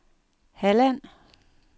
Halland